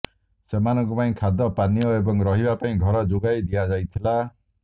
ସେମାନଙ୍କ ପାଇଁ ଖାଦ୍ୟ ପାନୀୟ ଏବଂ ରହିବା ପାଇଁ ଘର ଯୋଗାଇ ଦିଆଯାଇଥିଲା